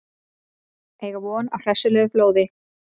Eiga von á hressilegu flóði